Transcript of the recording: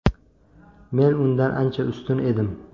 Men undan ancha ustun edim.